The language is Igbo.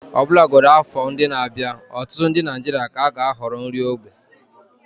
Ọbụlagodi afọ ndị na-abịa, ọtụtụ ndị Naijiria ka ga-ahọrọ nri ógbè.